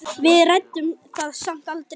Við ræddum það samt aldrei.